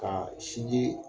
Ka sinji